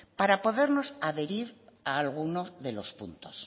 para podernos adherir a alguno de los puntos